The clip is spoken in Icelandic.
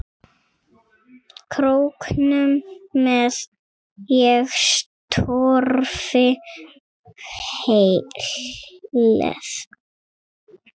Króknum með ég torfi hleð.